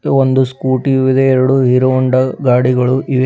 ಮತ್ತು ಒಂದು ಸ್ಕೂಟಿಯೂ ಇದೆ ಎರಡು ಹೀರೋ ಹೋಂಡಾ ಗಾಡಿಗಳು ಇವೆ.